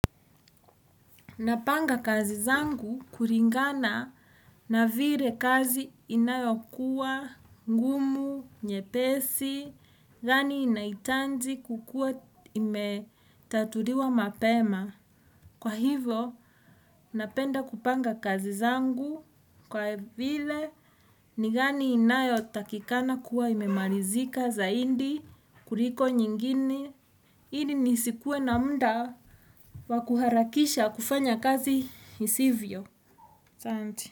Napanga kazi zangu kulingana na vile kazi inayokuwa, ngumu, nyepesi, gani inaitaji kukua imetatuliwa mapema. Kwa hivo, napenda kupanga kazi zangu kwa vile ni gani inayo takikana kuwa imemalizika zaidi kuliko nyingine. Ili nisikuwe na muda wakuharakisha kufanya kazi isivyo.